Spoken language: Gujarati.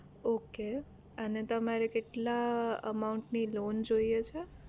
okay અને તમારે કેટલા amount ની loan જોઈએ છે